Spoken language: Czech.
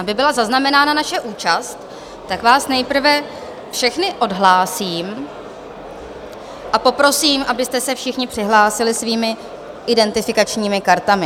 Aby byla zaznamenána naše účast, tak vás nejprve všechny odhlásím a poprosím, abyste se všichni přihlásili svými identifikačními kartami.